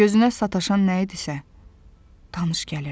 Gözünə sataşan nə idisə, tanış gəlirdi.